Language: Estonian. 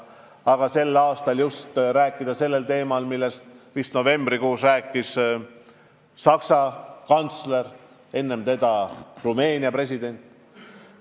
Aga ma sain rääkida ka sellel teemal, millest novembrikuus rääkis Saksa kantsler ja enne teda Rumeenia president.